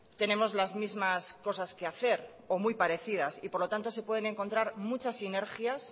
tenemos las mismas cosas que hacer o muy parecidas y por lo tanto se pueden encontrar muchas sinergias